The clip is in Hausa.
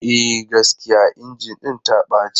E, gaskiya injin ɗin ta ɓace.